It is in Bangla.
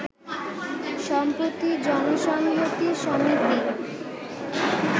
সম্প্রতি জনসংহতি সমিতি